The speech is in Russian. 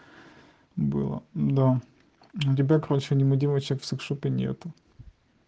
было да тебя короче аниме девочек в сексшопе нету